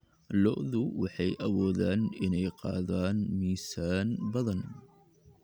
Lo'du waxay awoodaan inay qaadaan miisaan badan.